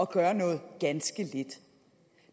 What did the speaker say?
gøre noget ganske lidt